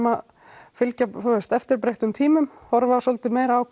að fylgja eftir breyttum tímum horfa svolítið meira á